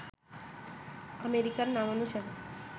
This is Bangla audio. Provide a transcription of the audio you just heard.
আমেরিকার নামানুসারে